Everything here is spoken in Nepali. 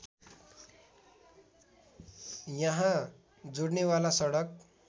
यहाँ जोडनेवाला सडक